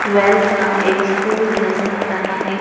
Twelfth का एक school नजर आ रहा है।